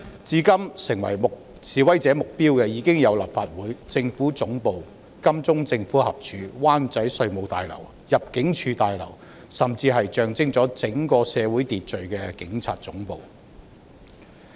至今，已成為示威者目標的有立法會綜合大樓、政府總部、金鐘道政府合署、灣仔稅務大樓、入境事務大樓，甚至是象徵整個社會秩序的警察總部。